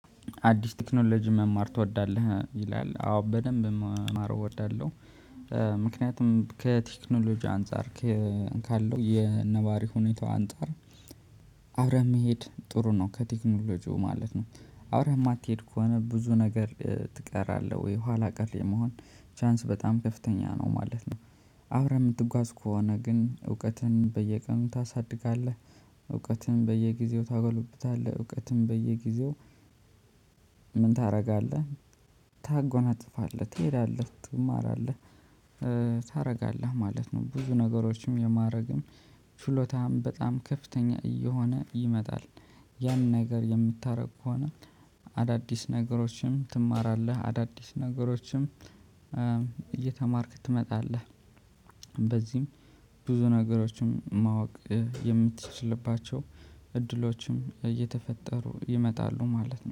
አዲስ ቴክኖሎጂ መማር ትወዳለህ ይላል አዎ በደንብ መማር እወዳለሁ። ምክንያቱም ከቴክኖሎጂ አንፃር ካለው የነባሪ ሁኔታው አንፃር አብረህ መሄድ ጥሩ ነው ከቴክኖሎጂው ማለት ነው። አብረህ የማትሄድ ከሆነ ብዙ ነገር ትቀራለህ ወይ ኋላ ቀር የመሆን ቻንስ በጣም ከፍተኛ ነው ማለት ነው። አብረህ የምትጓዝ ከሆነ ግን እውቀትን በየቀኑ ታሳድጋለህ። እውቀትን በየጊዜው ታጎለብታለህ እውቀትን በየጊዜው ምን ታደርጋለህ? ታጎናጽፋለህ ትሄዳለህ ትማራለህ። ታደርጋለህ ማለት ነው ብዙ ነገሮችን የማድረግም ችሎታም በጣም ከፍተኛ እየሆነ ይመጣል። ያን ነገር የምታደርግ ከሆነ አዳዲስ ነገሮችም ትማራለህ አዳዲስ ነገሮችም እየተማርክ ትመጣለህ። በዚህም ብዙ ነገሮችም ማወቅ የምትችልባቸው እድሎችም እየተፈጠሩ ይመጣሉ ማለት ነው